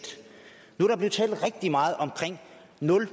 nu er der blevet talt rigtig meget om nul